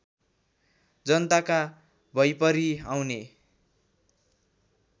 जनताका भैपरि आउने